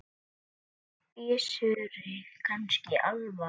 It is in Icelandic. Gissuri kannski alvara.